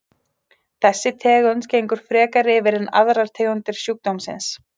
Þessi tegund gengur frekar yfir en aðrar tegundir sjúkdómsins.